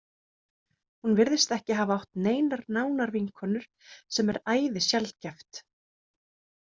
Hún virðist ekki hafa átt neinar nánar vinkonur sem er æði sjaldgæft.